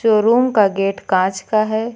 Showroom का gate कांच का है।